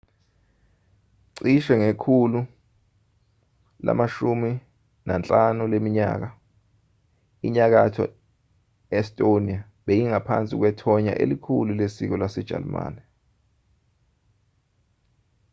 cishe ngekhulu lama-15 leminyaka inyakatho estonia beyingaphansi kwethonya elikhulu lesiko lasejalimane